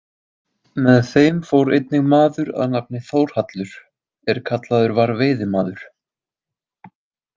Með þeim fór einnig maður að nafni Þórhallur er kallaður var veiðimaður.